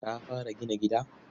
Ka fara gina gida?